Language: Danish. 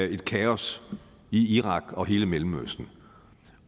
et kaos i irak og hele mellemøsten